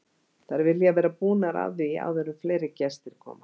Þær vilja vera búnar að því áður en fleiri gestir koma.